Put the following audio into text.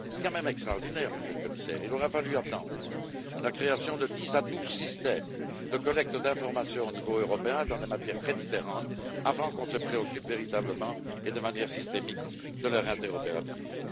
Il est quand même extraordinaire, Monsieur le Commissaire, qu'il ait fallu attendre la création de dix à douze systèmes de collecte d'informations au niveau européen, dans des matières très différentes, avant qu'on ne se préoccupe véritablement, de manière systémique, de leur interopérabilité.